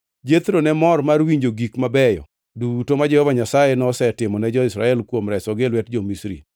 Jethro ne mor mar winjo gik mabeyo duto ma Jehova Nyasaye nosetimo ne jo-Israel kuom resogi e lwet jo-Misri.